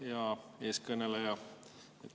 Hea eeskõneleja!